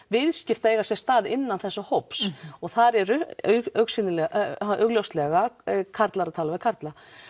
viðskipti að eiga sér stað innan þessa hóps þar eru augljóslega karlar að tala við karla